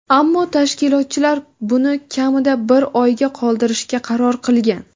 ammo tashkilotchilar buni kamida bir oyga qoldirishga qaror qilgan.